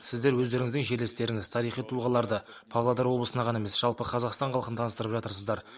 сіздер өздеріңіздің жерлестеріңіз тарихи тұлғаларды павлодар облысына ғана емес жалпы қазақстан халқына таныстырып жатырсыздар